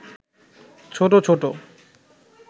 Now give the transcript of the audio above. ছোট ছোট